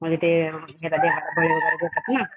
म्हणजे ते